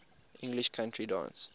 english country dance